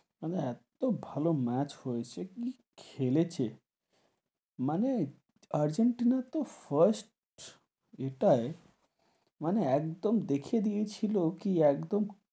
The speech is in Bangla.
মানে, এতো ভালো ম্যাচ হয়েছে কি খেলেছে মানে আর্জেন্টিনার তো first এটাই মানে একদম দেখিয়ে দিয়ে ছিল কি একদম,